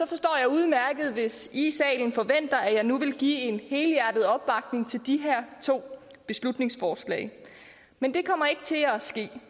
forstår jeg udmærket hvis i her i salen forventer at jeg nu vil give en helhjertet opbakning til de her to beslutningsforslag men det kommer ikke til at ske